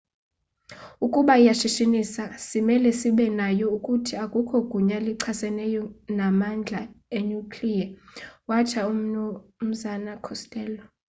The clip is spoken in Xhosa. "ukuba iyashishinisa simele sibe nayo. ukuthi, akukho gunya lichaseneyo namandla enuclear watsho umnu costello